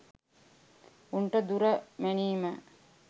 උන්ට දුර මැනීම